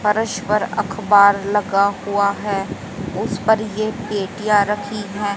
फरस पर अखबार लगा हुआ है उसपर ये पेटिया रखी है।